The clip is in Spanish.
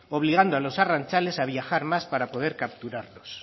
obligando a los arrantzales a viajar más para poder capturarlos